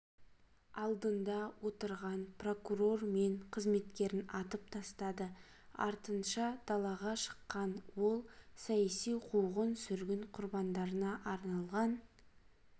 алдында отырған прокурор мен қызметкерін атып тастады артынша далаға шыққан ол саяси қуғын-сүргін құрбандарына арналған